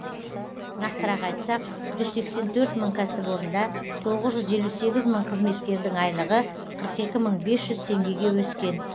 нақтырақ айтсақ жүз сексен төрт мың кәсіпорында тоғыз жүз елу сегіз мың қызметкердің айлығы қырық екі мың бес жүз теңгеге өскен